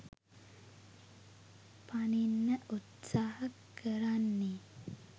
පනින්න උත්සහ කරන්නේ